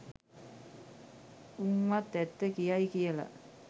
උං වත් ඇත්ත කියයි කියල